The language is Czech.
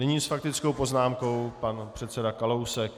Nyní s faktickou poznámkou pan předseda Kalousek.